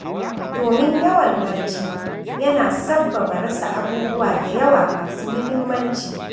Domin yawan barci yana sabbaba rasa abubuwa da yawa masu muhimmanci.